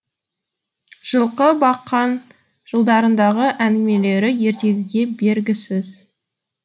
жылқы баққан жылдарындағы әңгімелері ертегіге бергісіз